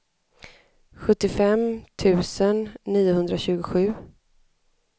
sjuttiofem tusen niohundratjugosju